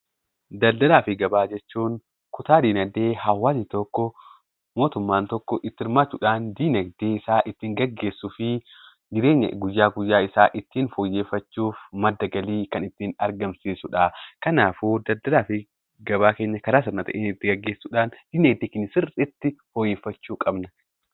Daldaala fi gabaa jechuun kutaa diinagdee hawaasni tokko mootummaan tokko itti hirmaachuudhan diinagdee isaa ittiin gaggeessu fi jireenya guyyaa guyyaa isaa ittiin fooyyeffachuuf madda galii kan ittiin argamsiisudha. Kanaafuu Daldaalaa fi gabaa seeraan fayyadamuudhaan diinagdee keenya fooyyeffachuu qabna.